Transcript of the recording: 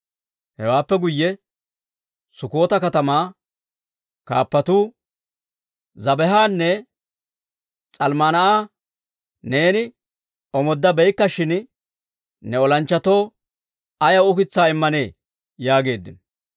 Hewaappe guyye Sukkota katamaa kaappatuu, «Zebaahanne S'almmunaa'a neeni omooddabeykkashin, ne olanchchatoo ayaw ukitsaa immanee?» yaageeddino.